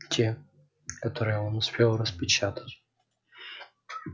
те которые он успел распечатать